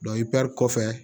i bɛ kɔfɛ